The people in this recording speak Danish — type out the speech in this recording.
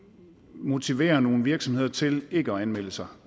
motiverer nogle virksomheder til ikke at anmelde sig